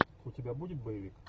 у тебя будет боевик